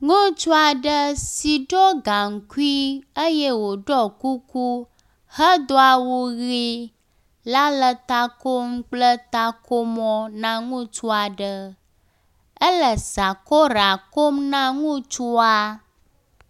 Ŋutsu aɖe si ɖɔ gaŋkui eye woɖɔ kuku hedo awu ɣi la le takom kple takomɔ na ŋutsu aɖe, ele sakora kom na ŋutsua.